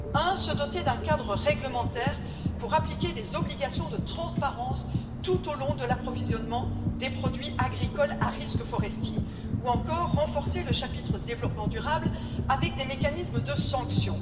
Premièrement, se doter d'un cadre réglementaire pour appliquer des obligations de transparence tout au long de l'approvisionnement des produits forestiers à risque deuxièmement, renforcer le chapitre développement durable avec des mécanismes de sanction.